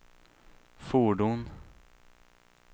fordon